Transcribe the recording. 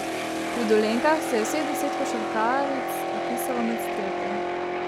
Pri Dolenjkah se je vseh deset košarkaric vpisalo med strelke.